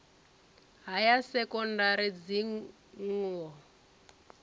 ha ya sekondari dzingo na